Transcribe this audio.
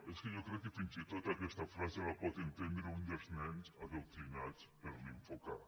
és que jo crec que fins i tot aquesta frase la pot entendre un dels nens adoctrinats per l’info k